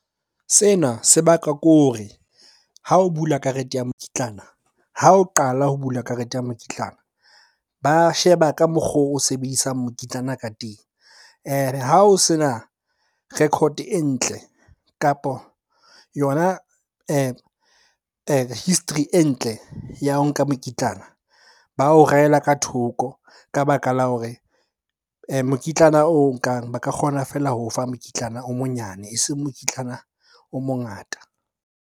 Sena se bakwa ke hore ha o bula karete ya mokitlana, ha o qala ho bula karete ya mokitlana ba sheba ka mokgo o sebedisang mokitlana ka teng. Ha o se na record e ntle, kapo yona history e ntle ya ho nka mokitlana, ba o reyela ka thoko. Ka baka la hore mokitlana o nkang ba ka kgona feela ho o fa mokitlana o monyane, eseng mokitlana o mongata.